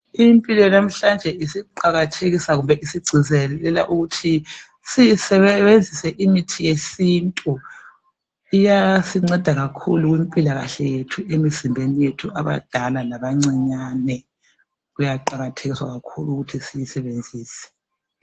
Impilo yanamhlanje isiqakathekisa kumbe isigcizelela ukuthi sisebenzise imithi yesintu. Iyasinceda kakhulu kumpilakahle yethu emizimbeni yethu abadala labancinyane kuyaqakathekiswa kakhulu ukuthi siyisebenzise.